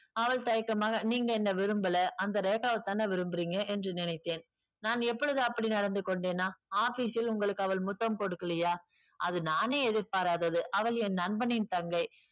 அவள் தயக்கமாக நீங்க என்ன விரும்பலை அந்த ரேகாவைத்தானே விரும்புறீங்க என்று நினைத்தேன் நான் எப்பொழுது அப்படி நடந்து கொண்டேனா office ல் உங்களுக்கு அவள் முத்தம் கொடுக்கலையா அது நானே எதிர்பாராதது அவள் என் நண்பனின் தங்கை